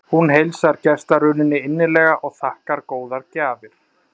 Hún heilsar gestarununni innilega og þakkar góðar gjafir.